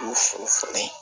U fo falen